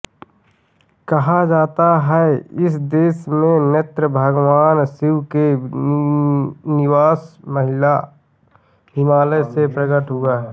कहा जाता है इस देश में नृत्यभगवान शिव के निवासहिमालय से प्रकट हुआ है